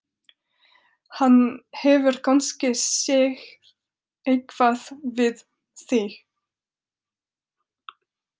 Hann hefur kannski séð eitthvað við þig!